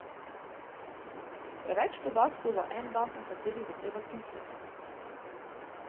Preveč podatkov za en dan, o katerih bo treba tuhtati.